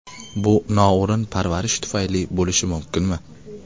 Bu noo‘rin parvarish tufayli bo‘lishi mumkinmi?